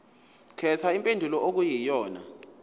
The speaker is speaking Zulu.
khetha impendulo okuyiyona